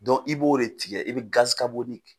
i b'o de tigɛ i bɛ